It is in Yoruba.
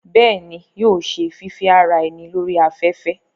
bẹ́ẹ̀ni, yóò ṣe fífẹ́ ara ẹni lórí afẹ́fẹ́